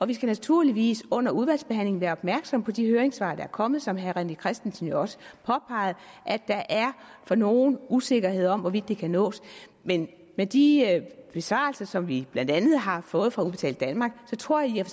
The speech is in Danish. vi skal naturligvis under udvalgsbehandlingen være opmærksomme på de høringssvar der er kommet som herre rené christensen jo også påpegede der er for nogen usikkerhed om hvorvidt det kan nås men med de besvarelser som vi blandt andet har fået fra udbetaling danmark tror jeg